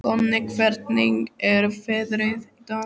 Konni, hvernig er veðrið í dag?